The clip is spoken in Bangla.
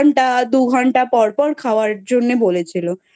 দু ঘন্টা পর পর খাওয়ার জন্যে বলেছিলো।